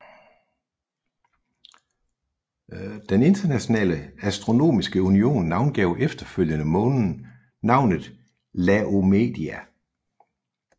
Den Internationale Astronomiske Union navngav efterfølgende månen navnet Laomedeia